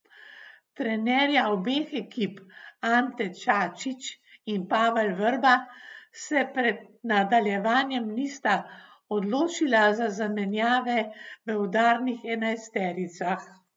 Trenerja obeh ekip, Ante Čačić in Pavel Vrba, se pred nadaljevanjem nista odločila za zamenjave v udarnih enajstericah.